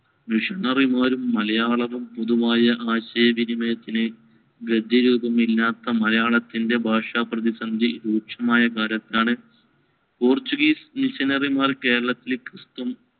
missionary മാരും മലയാളവും. പൊതുവായ ആശയവിനിമയത്തിന് ഗദ്യരൂപമില്ലാത്ത മലയാളത്തിന്‍റെ ഭാഷാപ്രതിസന്ധി രൂക്ഷമായ കാലത്താണ് പോര്‍ച്ചുഗീസ് missionary മാർ കേരളത്തിൽ ക്രിസ്തു~